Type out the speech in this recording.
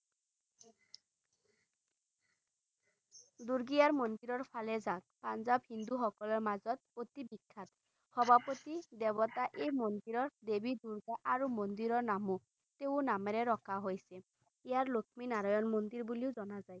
দূৰ্গা মন্দিৰৰ ফালে যাক পাঞ্জাব হিন্দু সকলৰ মাজত অতি বিখ্যাত সভাপতি দেবতা এই মন্দিৰৰ দেবী দূৰ্গা আৰু মন্দিৰৰ নামো তেওঁৰ নামেৰে ৰখা হৈছিল ইয়াক লক্ষ্মী নাৰায়ণ মন্দিৰ বুলিও জানা যায়